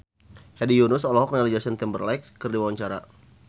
Hedi Yunus olohok ningali Justin Timberlake keur diwawancara